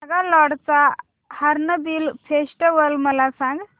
नागालँड चा Hornbill Festival मला सांग